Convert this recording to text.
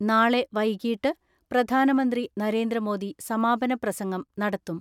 നാളെ വൈകീട്ട് പ്രധാനമന്ത്രി നരേന്ദ്രമോദി സമാപന പ്രസംഗം നടത്തും.